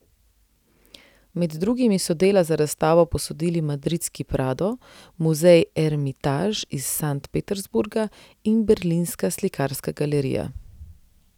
Med drugimi so dela za razstavo posodili madridski Prado, muzej Ermitaž iz Sankt Peterburga in berlinska Slikarska galerija.